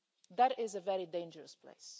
That is a very dangerous place.